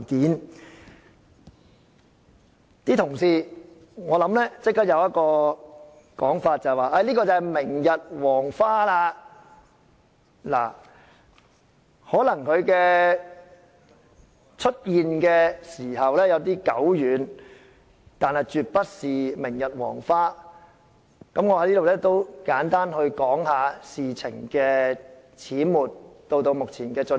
"一些同事即時的想法，可能是這些都已是明日黃花，而事實上，這事發生的時間可能有點久遠，但絕不是明日黃花，我在此簡單地談談事情始末，以及目前的進展。